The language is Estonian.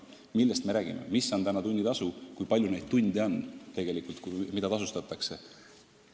Mis on praegu keskmine tunnitasu ja kui palju on neid tunde, mida tasustatakse?